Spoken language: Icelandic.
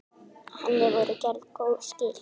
Henni voru gerð góð skil.